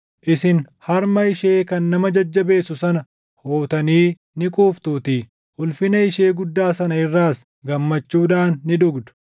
Isin harma ishee kan nama jajjabeessu sana hootanii ni quuftuutii; ulfina ishee guddaa sana irraas gammachuudhaan ni dhugdu.”